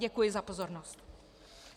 Děkuji za pozornost.